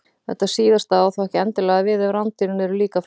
þetta síðasta á þó ekki endilega við ef rándýrin eru líka fleyg